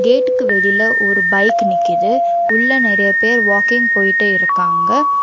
கேட்டுக்கு வெளில ஒரு பைக் நிக்கிது உள்ள நெறைய பேர் வாக்கிங் போயிட்டு இருக்காங்க.